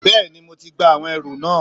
Bẹ́ẹ̀ni mo ti gba àwọn ẹrù náà